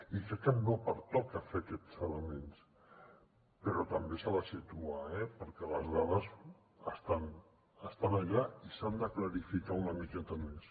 i crec que no pertoca fer aquests elements però també ens hem de situar eh perquè les dades estan allà i s’han de clarificar una miqueta més